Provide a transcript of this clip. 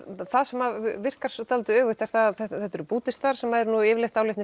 það sem virkar dálitið öfugt er að þetta eru Búddistar sem eru nú yfirleitt